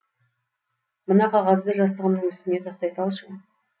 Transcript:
мына қағазды жастығымның үстіне тастай салшы